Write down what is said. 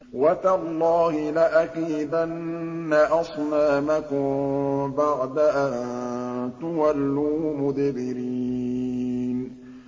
وَتَاللَّهِ لَأَكِيدَنَّ أَصْنَامَكُم بَعْدَ أَن تُوَلُّوا مُدْبِرِينَ